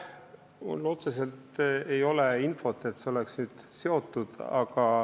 Mul ei ole otseselt infot, et see oleks sellega seotud.